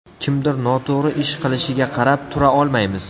Kimdir noto‘g‘ri ish qilishiga qarab tura olmaymiz.